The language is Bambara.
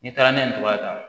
N'i taara n'a ye nin cogoya kan